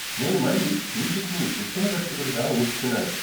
నేను మళ్ళీ షూజిత్ని ఉత్తమ దర్శకుడిగా ఊహిస్తున్నాను.